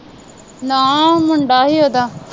ਨਾ ਮੁੰਡਾ ਹੀ ਉਹ ਦਾ